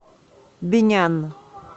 бинян